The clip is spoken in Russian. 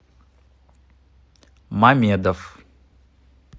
мамедов